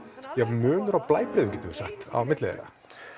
munur á blæbrigðum á milli þeirra